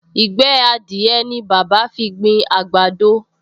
Ìgbẹ́ adìẹ ni bàbá fi gbin àgbàdo